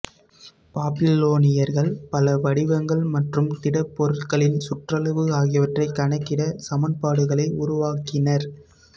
பாபிலோனியர்கள் பல வடிவங்கள் மற்றும் திட பொருட்களின் சுற்றளவு ஆகியவற்றை கணக்கிட சமன்பாடுகளை உருவாக்கினர்